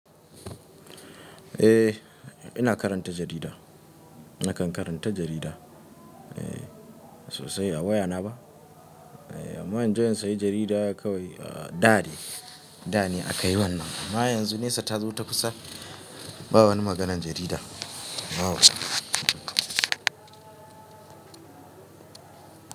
Eh ina karanta jarida. Nakan karanta jarida eh sosai a wayana ba. Eh amma inje in sayi jarida kawai a da dai da ne a kai wannan. Amma yanzu nesa ta zo ta kusa. Ba wani maganar jarida na waya.